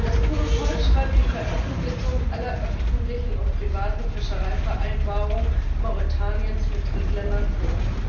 Das Protokoll schreibt die Veröffentlichung aller öffentlichen und privaten Fischereivereinbarungen Mauretaniens mit Drittländern vor.